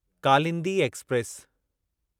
Kalindi express